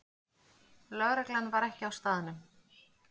Lögreglan var ekki á staðnum